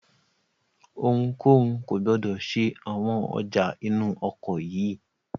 Ohunkóhun kò gbọdọ̀ ṣe àwọn ọjà inú ọkọ̀ yìí!